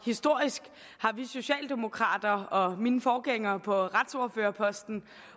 historisk har vi socialdemokrater og mine forgængere på retsordførerposten